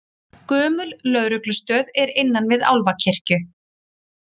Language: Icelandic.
Gömul lögreglustöð er innan við Álfakirkju